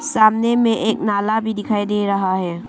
सामने में एक नाला भी दिखाई दे रहा है।